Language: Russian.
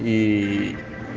ии